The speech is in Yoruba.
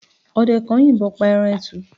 ọdẹ kan yìnbon pa eran etù